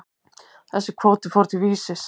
Þessi kvóti fór til Vísis.